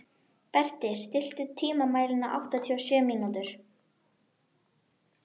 Berti, stilltu tímamælinn á áttatíu og sjö mínútur.